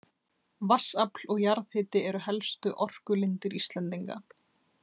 Vatnsafl og jarðhiti eru helstu orkulindir Íslendinga.